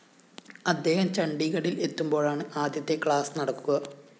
അദ്ദേഹം ചണ്ഡിഗഢില്‍ എത്തുമ്പോഴാണ് ആദ്യത്തെ ക്ലാസ്‌ നടക്കുക